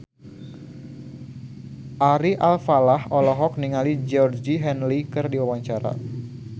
Ari Alfalah olohok ningali Georgie Henley keur diwawancara